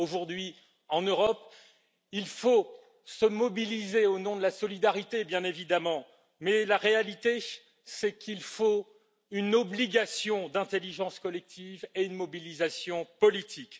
Aujourd'hui, en Europe, il faut se mobiliser au nom de la solidarité, bien évidemment, mais la réalité c'est qu'il faut une obligation d'intelligence collective et une mobilisation politique.